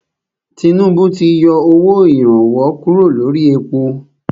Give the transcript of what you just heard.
Tinúbú ti yọ owó ìrànwọ́ kúrò lórí èpo.